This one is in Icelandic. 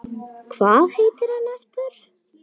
Hvað heitir hann aftur?